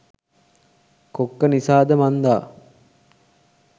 කොක්ක නිසාද මන්දා